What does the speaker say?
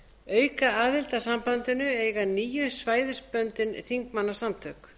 aukaaðild að sambandinu eiga níu svæðisbundin þingmannasamtök